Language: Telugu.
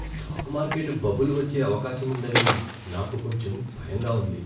స్టాక్ మార్కెట్ బబుల్ వచ్చే అవకాశం ఉందని నాకు కొంచెం భయంగా ఉంది.